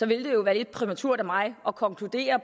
vil det jo være lidt præmaturt af mig at konkludere